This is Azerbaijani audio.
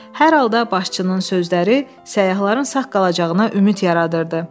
Hər halda başçının sözləri səyyahların sağ qalacağına ümid yaradırdı.